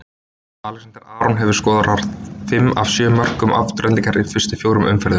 Alexander Aron hefur skorað fimm af sjö mörkum Aftureldingar í fyrstu fjórum umferðunum.